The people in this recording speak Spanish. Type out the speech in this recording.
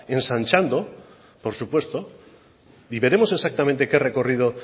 ensanchando por supuesto y veremos exactamente qué recorrido